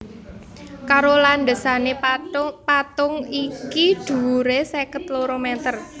Karo landhesané patung iki dhuwuré seket loro mèter